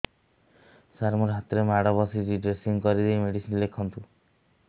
ସାର ମୋ ହାତରେ ମାଡ଼ ବାଜିଛି ଡ୍ରେସିଂ କରିଦେଇ ମେଡିସିନ ଲେଖନ୍ତୁ